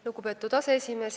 Lugupeetud aseesimees!